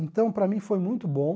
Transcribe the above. Então, para mim, foi muito bom.